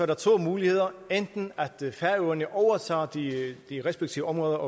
der to muligheder enten at færøerne overtager de respektive områder